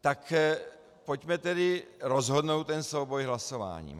Tak pojďme tedy rozhodnout ten souboj hlasováním.